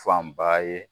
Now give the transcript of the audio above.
Fanba ye